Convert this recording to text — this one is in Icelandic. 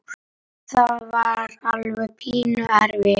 Það var alveg pínu erfitt.